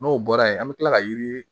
N'o bɔra yen an bɛ tila ka yiri